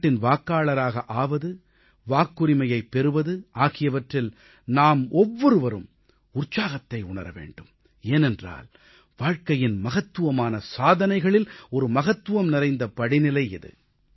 நாட்டின் வாக்காளராக ஆவது வாக்குரிமையைப் பெறுவது ஆகியவற்றில் நாம் ஒவ்வொருவரும் உற்சாகத்தை உணர வேண்டும் ஏனென்றால் வாழ்க்கையின் மகத்துவமான சாதனைகளில் ஒரு மகத்துவம் நிறைந்த படிநிலை இது